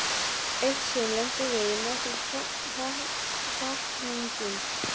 Eitt sinn lentum við í nokkrum hrakningum.